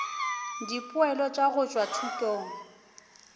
dipoelo tša go tšwa thutong